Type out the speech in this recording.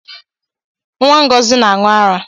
Nwa ngozi na-aṅụ ara